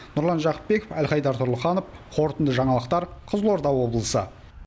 нұрлан жақыпбеков әлхайдар тұрлыханов қорытынды жаңалықтар қызылорда облысы